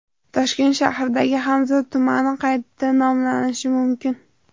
Toshkent shahridagi Hamza tumani qayta nomlanishi mumkin.